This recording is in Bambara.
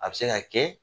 A bɛ se ka kɛ